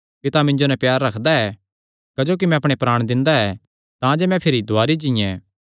पिता मिन्जो नैं प्यार रखदा ऐ क्जोकि मैं अपणे प्राण दिंदा ऐ तांजे मैं भिरी दुवारी जीयें